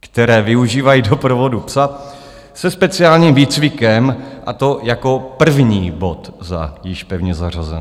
které využívají doprovodu psa se speciálním výcvikem, a to jako první bod za již pevně zařazené.